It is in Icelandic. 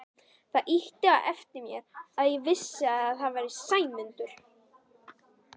Það ýtti á eftir mér að ég vissi að Sæmundur